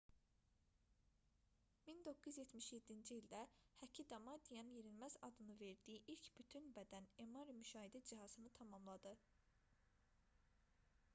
1977-ci ildə həki damadian yenilməz adını verdiyi ilk bütün bədən mri müşahidə cihazını tamamladı